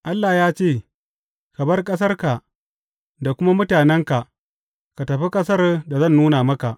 Allah ya ce, Ka bar ƙasarka da kuma mutanenka, ka tafi ƙasar da zan nuna maka.’